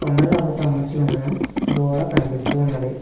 కొండ రాళ్లతో అమర్చి ఉన్న గోడ కనిపిస్తూ ఉన్నది.